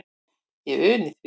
Ég uni því.